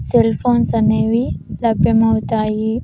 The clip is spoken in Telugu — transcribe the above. సెల్ ఫోన్స్ అనేవి లభ్యమౌతాయి.